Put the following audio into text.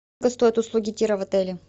сколько стоят услуги тира в отеле